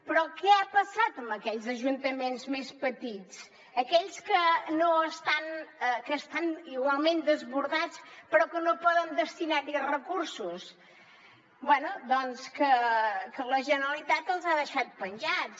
però què ha passat amb aquells ajuntaments més petits aquells que estan igualment desbordats però que no poden destinar hi recursos bé doncs que la generalitat els ha deixat penjats